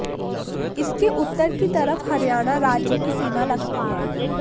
इसके उत्तर की तरफ हरियाणा राज्य की सीमा लगती है